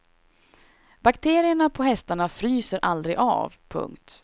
Bakterierna på hästarna fryser aldrig av. punkt